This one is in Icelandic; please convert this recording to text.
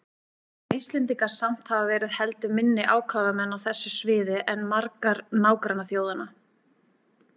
Munu Íslendingar samt hafa verið heldur minni ákafamenn á þessu sviði en margar nágrannaþjóðanna.